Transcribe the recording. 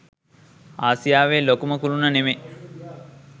ආසියාවේ ලොකුම කුළුණ නෙමෙයි